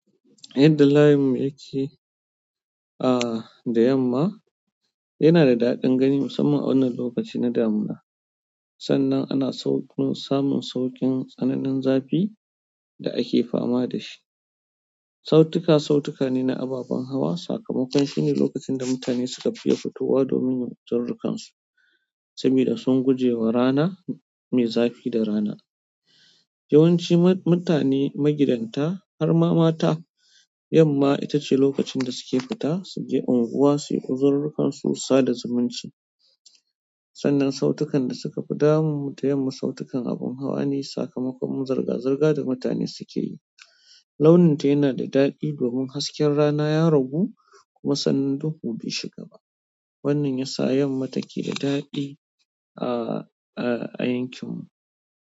Yadda layinmu yakke, ah, da yamma yana da da'adin gani musamman a wannan lokaci na damina. Sannan ana sauƙin samun sauƙin tsananin zafi da ake fama da shi. Sautuka, sautuka ne na ababen hawa, sakamakon shine lokacin da mutane suka fiya fitowa domin yin uzururrukansu sabida sun gujewa ra na, me zafi da rana. Yawanci mutane magidanta har ma mata, yamma ita ce lokacin da suke fita su je unguwa su yi uzururrukansu, sa da zumunci. Sannan sautukan da suka fi damun mu da yamma sautukan abin hawa ne, sakamakon zirga-zirga da mutane suke yi. Launin ta yana da daɗi domin hasken rana ya ragu kuma sannan duhu bai shiga ba. Wannan ya sa yamma take da daɗi, ah, ah a yankin mu.